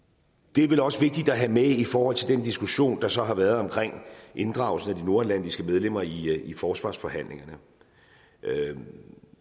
det er vel også vigtigt at have med i forhold til den diskussion der så har været omkring inddragelsen af de nordatlantiske medlemmer i forsvarsforhandlingerne herre